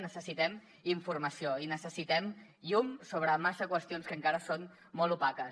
necessitem informació i necessitem llum sobre massa qüestions que encara són molt opaques